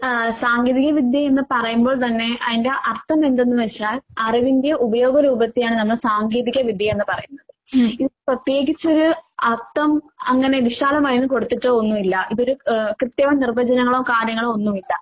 ആഹ് സാങ്കേതിക വിദ്യയെന്ന് പറയുമ്പോൾ തന്നെ അതിന്റെ അർത്ഥമെന്തെന്ന് വെച്ചാൽ അറിവിന്റെ ഉപയോഗരൂപത്തെയാണ് നമ്മൾ സാങ്കേതിക വിദ്യയെന്ന് പറയുന്നത്. ഇതിന് പ്രത്യേകിച്ചൊരു അർത്ഥം അങ്ങനെ വിശാലമായൊന്നും കൊടുത്തിട്ട് ഒന്നുവില്ല. ഇതൊരു ഏ കൃത്യമായ നിർവചങ്ങളോ കാര്യങ്ങളോ ഒന്നുവില്ല.